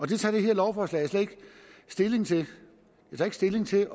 det tager det her lovforslag slet ikke stilling til det tager ikke stilling til